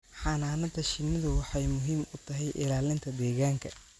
Xannaanada shinnidu waxay muhiim u tahay ilaalinta deegaanka